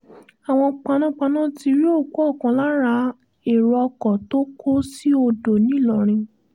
àwọn panápaná ti rí òkú ọ̀kan lára àwọn èrò ọkọ̀ tó kó sí odò ńìlọrin